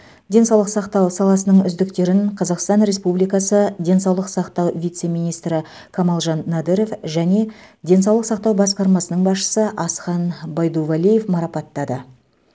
денсаулық сақтау саласының үздіктерін қазақстан республикасы денсаулық сақтау вице министрі камалжан надыров және денсаулық сақтау басқармасының басшысы асхан байдувалиев марапаттады